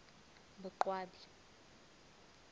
boqwabi